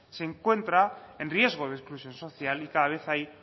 se encuentra en riesgo de exclusión social y cada vez hay